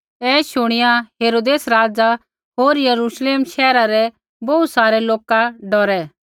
ऐ शुणिया हेरोदेस राज़ा होर यरूश्लेम शैहरा रै बोहू सारै लोका डौरै